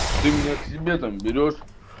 ты меня к себе там берёшь